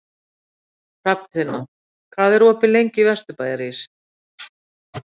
Hrafntinna, hvað er opið lengi í Vesturbæjarís?